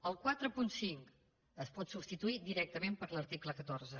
el quaranta cinc es pot substituir directament per l’article catorze